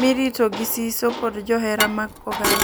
mirito gi siso kod johera mag Kogallo.